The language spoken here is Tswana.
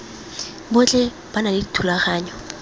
botlhe ba na le dithulaganyo